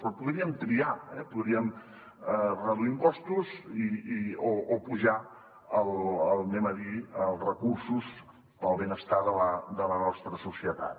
però podríem triar podríem reduir impostos o apujar diguem ne els recursos per al benestar de la nostra societat